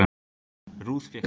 Ruth fékk þó að